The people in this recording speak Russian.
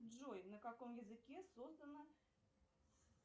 джой на каком языке создана